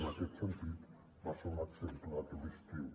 en aquest sentit va ser un exemple aquest estiu